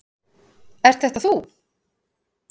Ert þetta þú?